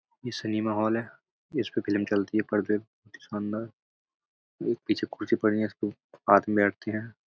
ये cinema hall है। इसपे फिलम चलती है पर्दे । पीछे खुर्सी पड़ी हैं। इसपे आदमी बैठते हैं।